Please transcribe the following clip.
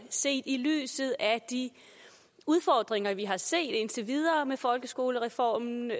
set i lyset af de udfordringer vi har set indtil videre med folkeskolereformen